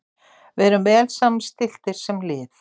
Við erum vel samstilltir sem lið.